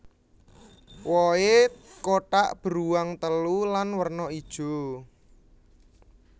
Wohé kotak beruang telu lan werna ijo